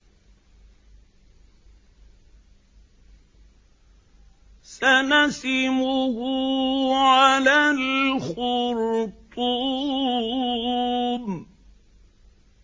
سَنَسِمُهُ عَلَى الْخُرْطُومِ